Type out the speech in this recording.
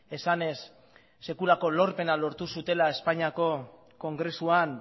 esanez sekulako lorpena lortu zutela espainiako kongresuan